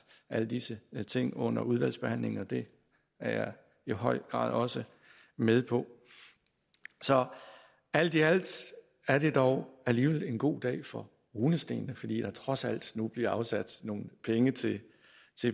alle disse ting under udvalgsbehandlingen og det er jeg i høj grad også med på så alt i alt er det dog alligevel en god dag for runestenene fordi der trods alt nu bliver afsat nogle penge til